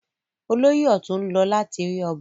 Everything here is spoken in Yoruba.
Olóyè ọ̀tún ń lọ láti rí ọba.